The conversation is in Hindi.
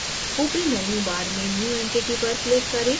ऊपरी menu bar में new entity पर click करें